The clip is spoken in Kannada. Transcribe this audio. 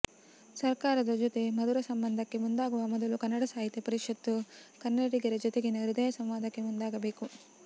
ಸರ್ಕಾರದ ಜೊತೆ ಮಧುರ ಸಂಬಂಧಕ್ಕೆ ಮುಂದಾಗುವ ಮೊದಲು ಕನ್ನಡ ಸಾಹಿತ್ಯ ಪರಿಷತ್ತು ಕನ್ನಡಿಗರ ಜೊತೆಗಿನ ಹೃದಯ ಸಂವಾದಕ್ಕೆ ಮುಂದಾಗಬೇಕು